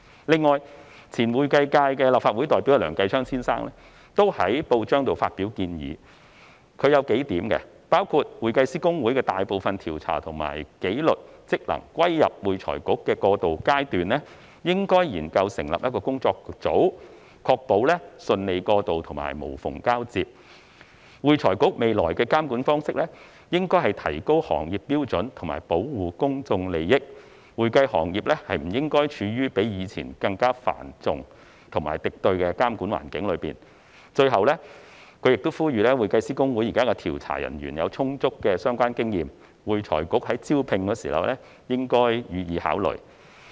此外，前會計界立法會代表梁繼昌先生也在報章上發表建議，他提出了數點，包括：在會計師公會的大部分調查和紀律職能歸入會財局的過渡階段，應該研究成立—個工作組，確保順利過渡和無縫交接；會財局未來的監管方式應該提高行業標準和保護公眾利益，會計行業不應處於比以前更加繁重和敵對的監管環境中；最後，他指出現時會計師公會的調查人員有充足的相關經驗，呼籲會財局在招聘時應予以考慮。